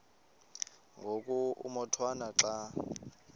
ngoku umotwana xa